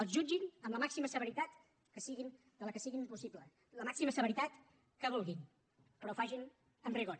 els jutgin amb la màxima severitat que sigui possible la màxima severitat que vulguin però facin ho amb rigor